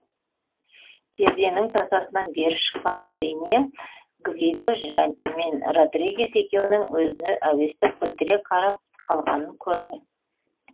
перденің тасасынан бері шыққан джиния гвидо мен родригес екеуінің өзіне әуестік білдіре қарап қалғанын көрді